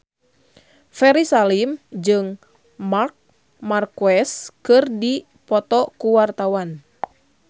Ferry Salim jeung Marc Marquez keur dipoto ku wartawan